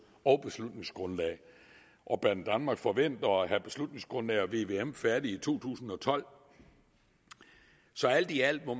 og beslutningsgrundlag og banedanmark forventer at have beslutningsgrundlag og vvm færdige i to tusind og tolv så alt i alt må